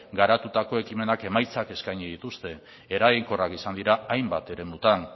garatutako ekimenek emaitzak eskaini dituzte eraginkorrak izan dira hainbat eremutan